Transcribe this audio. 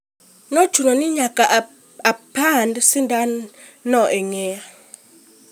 Ne ochuna ni nyaka apand sindan no e ng'eya....